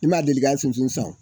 I m'a deli ka sunsun san